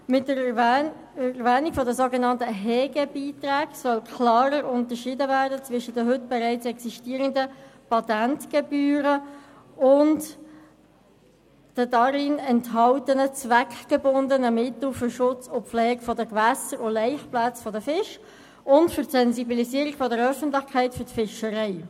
Mit der Erwähnung der sogenannten Hegebeiträge soll klarer unterschieden werden zwischen den bereits existierenden Patentgebühren und den darin enthaltenen zweckgebundenen Mitteln für den Schutz und die Pflege von Gewässern sowie der Laichplätze von Fischen und für die Sensibilisierung der Öffentlichkeit für die Fischerei.